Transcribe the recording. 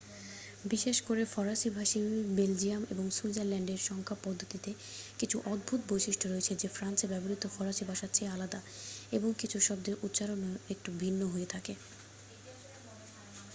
বিশেষ করে ফরাসী ভাষী বেলজিয়াম এবং সুইজারল্যান্ডের সংখ্যা পদ্ধতিতে কিছু অদ্ভুত বৈশিষ্ট্য রয়েছে যে ফ্রান্সে ব্যবহৃত ফরাসী ভাষার চেয়ে আলাদা এবং কিছু শব্দের উচ্চারণও একটু ভিন্ন হয়ে থাকে